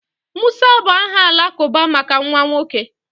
Musa bụ aha Alakụba maka nwa nwoke